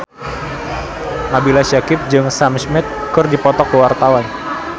Nabila Syakieb jeung Sam Smith keur dipoto ku wartawan